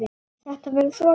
Þetta verður svo gaman.